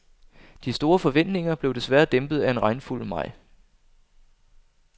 De store forventninger blev desværre dæmpet af en regnfuld maj.